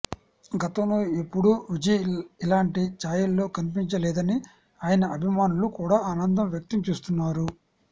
గతంలో ఎప్పుడూ విజయ్ ఇలాంటి ఛాయల్లో కనిపించలేదని ఆయన అభిమానులు కూడా ఆనందం వ్యక్తం చేస్తున్నారు